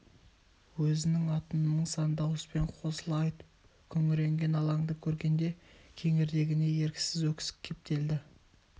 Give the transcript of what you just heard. өзінің атын мың-сан дауыспен қосыла айтып күңіренген алаңды көргенде кеңірдегіне еріксіз өксік кептелді